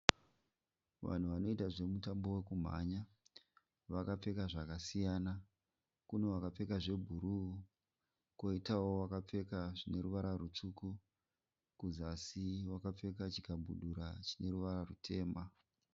Vanhu vanoita zvemutambo wokumhanya. Vakapfeka zvakasiyana. Kune vakapfeka zvebhuru koitawo vakapfeka zvine ruvara rutsvuku. Kuzasi wakapfeka chikabudura chine ruvara rutema.